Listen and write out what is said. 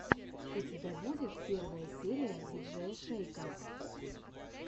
у тебя будет первая серия диджея шейка